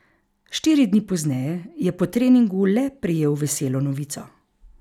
Štiri dni pozneje je po treningu le prejel veselo novico.